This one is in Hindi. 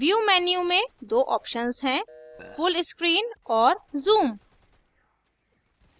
view menu में दो options हैं full screen और zoom